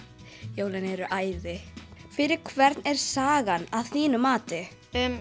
jólin eru æði fyrir hvern er sagan að þínu mati